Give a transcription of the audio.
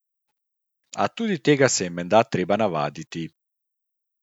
A tudi tega se je menda treba navaditi.